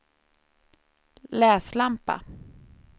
läslampa